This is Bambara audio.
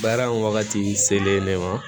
Baara in wagati selen ne ma